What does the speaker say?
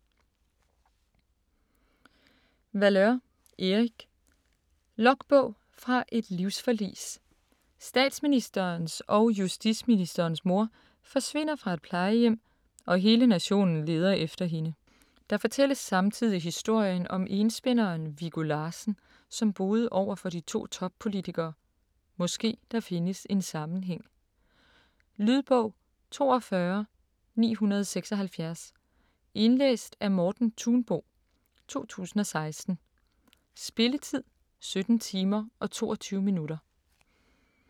Valeur, Erik: Logbog fra et livsforlis Statsministerens og justitsministerens mor forsvinder fra et plejehjem og hele nationen leder efter hende. Der fortælles samtidig historien om enspænderen Viggo Larssen som boede overfor de to toppolitikere, måske der findes en sammenhæng. Lydbog 42976 Indlæst af Morten Thunbo, 2016. Spilletid: 17 timer, 22 minutter.